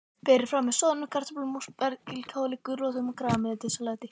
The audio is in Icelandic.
Berið fram með soðnum kartöflum, spergilkáli, gulrótum og grænmetissalati.